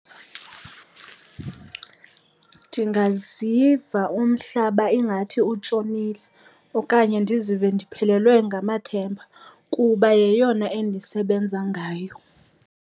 Ndingaziva umhlaba ingathi utshonile okanye ndizive ndiphelelwe ngamathemba kuba yeyona endisebenza ngayo.